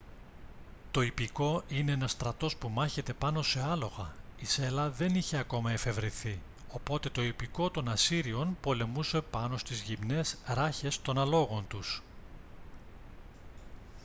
το ιππικό είναι ένας στρατός που μάχεται πάνω σε άλογα η σέλα δεν είχε ακόμη εφευρεθεί οπότε το ιππικό των ασσύριων πολεμούσε πάνω στις γυμνές ράχες των αλόγων τους